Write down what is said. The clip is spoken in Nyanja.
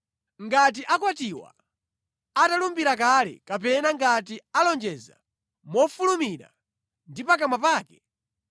“Ngati akwatiwa atalumbira kale kapena ngati alonjeza mofulumira ndi pakamwa pake,